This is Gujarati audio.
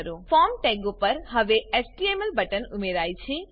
ફોર્મ ટેગો પર હવે એચટીએમએલ બટન ઉમેરાય છે